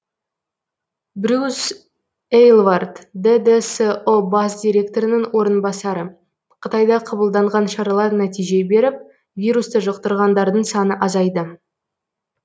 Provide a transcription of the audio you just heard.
брюс эйлвард ддсұ бас директорының орынбасары қытайда қабылданған шаралар нәтиже беріп вирусты жұқтырғандардың саны азайды